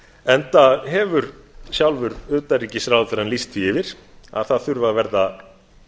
enda hefur sjálfur utanríkisráðherrann lýst því yfir að það þurfi að verða